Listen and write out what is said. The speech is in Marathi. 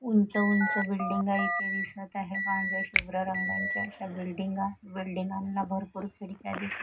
ऊंच ऊंच बिल्डिंग आहे इथे दिसत आहे पांढऱ्या शुभ्र रंगांच्या अशा बिल्डिंगांना भरपूर खिडक्या दिसत--